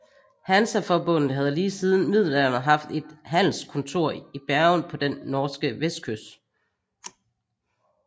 Hansaforbundet havde lige siden middelalderen haft et handelskontor i Bergen på den norske vestkyst